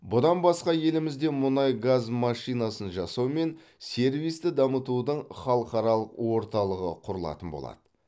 бұдан басқа елімізде мұнай газ машинасын жасау мен сервисті дамытудың халықаралық орталығы құрылатын болады